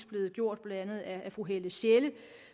blevet gjort blandt andet af fru helle sjelle